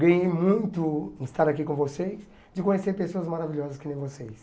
Ganhei muito em estar aqui com vocês, de conhecer pessoas maravilhosas que nem vocês.